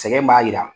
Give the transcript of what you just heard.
Sɛgɛn b'a jira